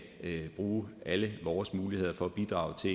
bruge alle vores muligheder for at bidrage til